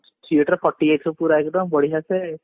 seat ରେ କଟି ଯାଇଥିବା ଏକଦମ ବଢିଆ ସେ